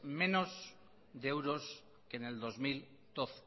menos de euros que en el dos mil doce